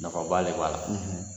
Nafaba de b'a la